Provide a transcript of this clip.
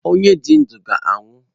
Onye dị ndụ ga anwụ.